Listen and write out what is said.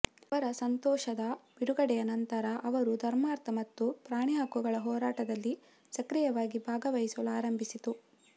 ಅವರ ಸಂತೋಷದ ಬಿಡುಗಡೆಯ ನಂತರ ಅವರು ಧರ್ಮಾರ್ಥ ಮತ್ತು ಪ್ರಾಣಿ ಹಕ್ಕುಗಳ ಹೋರಾಟದಲ್ಲಿ ಸಕ್ರಿಯವಾಗಿ ಭಾಗವಹಿಸಲು ಆರಂಭಿಸಿತು